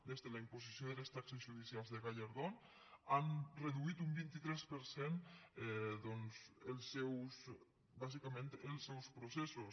des de la imposició de les taxes judicials de gallardón han reduït un vint tres per cent doncs bàsicament els seus processos